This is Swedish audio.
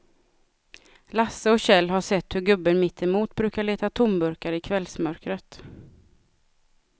Lasse och Kjell har sett hur gubben mittemot brukar leta tomburkar i kvällsmörkret.